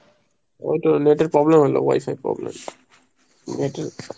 ওই তো net এর problem হলো wi-fi problem, net এর।